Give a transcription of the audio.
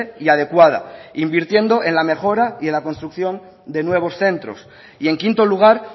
y adecuada invirtiendo en la mejora y en la construcción de nuevos centros y en quinto lugar